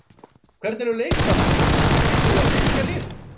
Hvernig er með leikmannamál, býstu við að styrkja liðið?